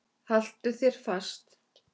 Haltu þér fast.